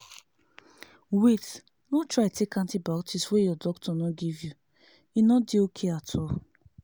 wait no try take antibiotic wey your doctor no give you e no dey okay at all